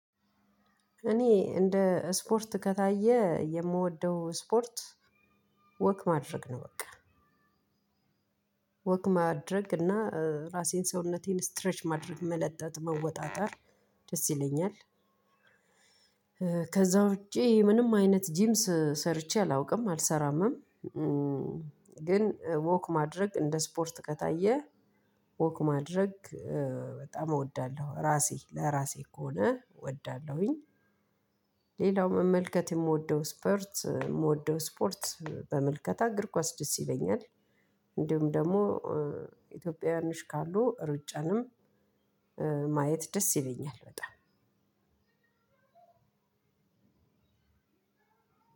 እኔ እንደ ስፖርት ከታየ የምወደው ስፖርት ወክ ማድረግ ነው። በቃ ወክ ማድረግ እና ራሴን ሰውነቴን ስትሬች ማድረግ መለጠጥ መወጣጠር ደስ ይለኛል። ከዛ ውጪ ምንም አይነት ጂምስ ሰርቼ አላውቅም አልሰራምም። ግን ወክ ማድረግ እንደ ስፖርት ከታየ ወክ ማድረግ በጣም እወዳለሁ ራሴ ለራሴ ከሆነ እወዳለሁኝ። ሌላው መመልከት የምወደው ስፖርት የምወደው ስፖርት በምልከታ እግር ኳስ ደስ ይለኛል። እንዲሁም ደግሞ ኢትዮጵያውያን ካሉ ሩጫንም ማየት ደስ ይለኛል። በጣም